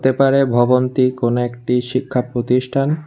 হতে পারে ভবনটি কোন একটি শিক্ষার প্রতিষ্ঠান।